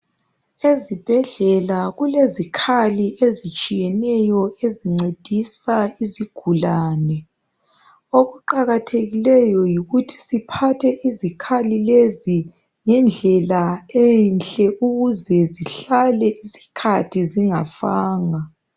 Ezibhedlela kulezikhali ezitshiyeneyo, ezincedisa izigulane. Okuqakathekileyo yikuthi siphathe izikhali lezi ngendlela enhle ukuze zihlale isikhathi zingafanga.